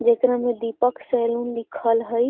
जेकरा में दीपक सैलून लिखल हई।